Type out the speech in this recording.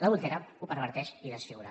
l’adultera ho perverteix i desfigura